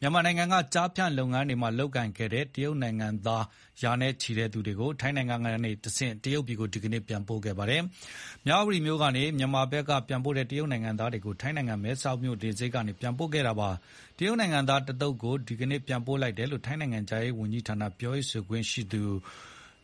မြန်မာနိုင်ငံက ကျားဖြန့်လုပ်ငန်းတွေမှာ လုပ်ကိုင်ခဲ့တဲ့ တရုတ်နိုင်ငံသား ရာနဲ့ချီကို ထိုင်းနိုင်ငံကတဆင့် တရုတ်နိုင်ငံကို ဒီနေ့ ပြန်ပို့ခဲ့ပါတယ်။ မြဝတီမြို့ကနေ မြန်မာဘက်ကပြန်ပို့တဲ့ တရုတ်နိုင်ငံသားတွေကို ထိုင်းနိုင်ငံ မဲဆောက်လေဆိပ်ကနေ ပြန်ပို့ခဲ့တာပါ။ တရုတ်နိုင်ငံသား တသုတ်ကို ဒီနေ့ ပြန်ပို့လိုက်တယ်လို့ ထိုင်းနိုင်ငံခြားရေးဌာန ပြောခွင့်ရ